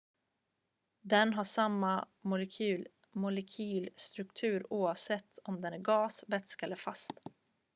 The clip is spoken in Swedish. den har samma molekylstruktur oavsett om den är gas vätska eller fast